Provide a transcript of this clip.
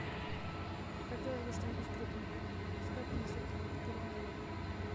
хотелось бы что нибудь крепенького пускай принесут алкоголь в номер